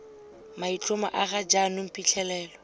maitlhomo a ga jaanong phitlhelelo